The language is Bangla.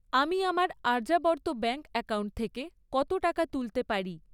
আমি আমার আর্যাবর্ত ব্যাঙ্ক অ্যাকাউন্ট থেকে কত টাকা তুলতে পারি?